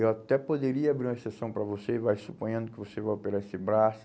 Eu até poderia abrir uma exceção para você e vai suponhando que você vai operar esse braço.